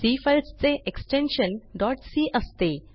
C files चे extension dot C असते